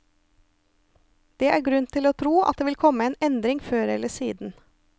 Det er grunn til å tro at det vil komme en endring før eller siden.